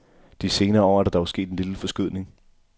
De senere år er der dog sket en lille forskydning.